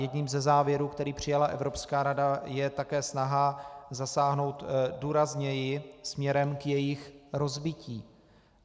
Jedním ze závěrů, který přijala Evropská rada, je také snaha zasáhnout důrazněji směrem k jejich rozbití.